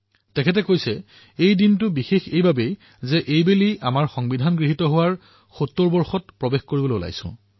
তেওঁৰ মতে এইটো এটা বিশেষ দিন কিয়নো আমি সংবিধান গ্ৰহণ কৰাৰ ৭০তম বৰ্ষত প্ৰৱেশ কৰিবলৈ ওলাইছো